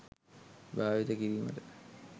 භාවිත කිරීමට